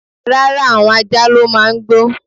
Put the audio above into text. Rara, awon ajá lo màá ń gbó